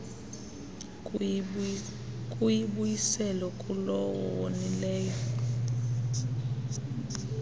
kuyibuyisela kulowo wonileyo